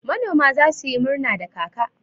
Manoma za su yi murna da kaka